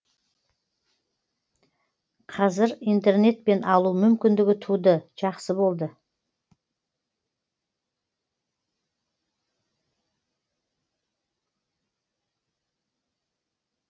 қазір интернетпен алу мүмкіндігі туды жақсы болды